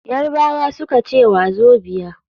Yarbawa suka ce wazobia.